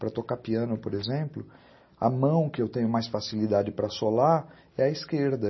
Para tocar piano, por exemplo, a mão que eu tenho mais facilidade para assolar é a esquerda.